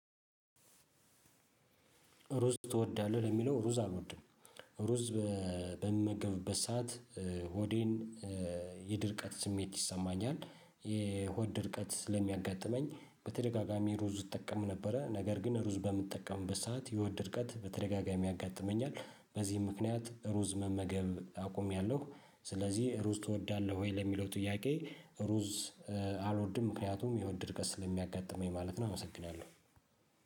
ሩዝ ትወዳለህ ለሚለው ሩዝ አልወድም። ሩዝ በምመገብበት ሰዓት ሆዴን የድርቀት ስሜት ይሰማኛል የሆድ ድርቀት ስለሚያጋጥመኝ በተደጋጋሚ ሩዝ እጠቀም ነበረ። ነገር ግን ሩዝ በምትጠቀምበት ሰዓት የሆድ ድርቀት በተደጋጋሚ ያጋጥመኛል። በዚህ ምክንያት ሩዝ መመገብ አቁሜያለሁ። ስለዚህ ሩዝ ትወዳለህ ወይ ለሚለው ጥያቄ? ሩዝ አልወድም ምክንያቱም የሆድ ድርቀት ስለሚያጋጥመኝ ማለት ነው። አመሰግናለሁ